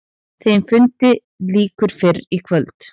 Þeim fundi lýkur fyrir kvöld.